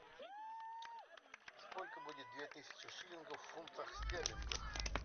сколько будет две тысячи шиллингов в фунтах стерлингов